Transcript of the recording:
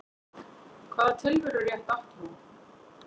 Hvaða tilverurétt átti hún?